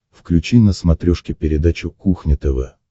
включи на смотрешке передачу кухня тв